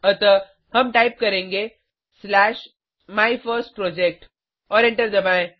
अतः हम टाइप करेंगे स्लैश माइफर्स्टप्रोजेक्ट और एंटर दबाएं